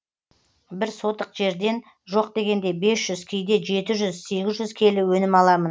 бір сотық жерден жоқ дегенде бес жүз кейде жеті жүз сегіз жүз келі өнім аламын